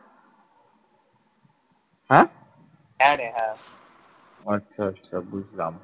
আচ্ছা আচ্ছা বুঝলাম।